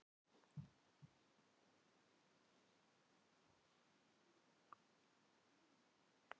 Einmanakenndin umlukti mig og ég lét mig falla í gólfið.